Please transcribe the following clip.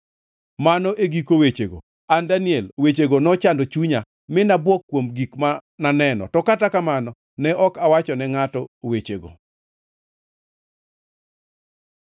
“Mano e giko wechego. An, Daniel, wechego nochando chunya, mi nabuok kuom gik mane aneno, to kata kamano ne ok awachone ngʼato wechego.”